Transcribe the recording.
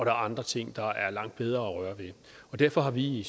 er andre ting der er langt bedre at røre ved derfor har vi i